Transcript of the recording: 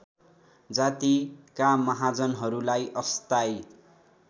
जातिका महाजनहरूलाई अस्थायी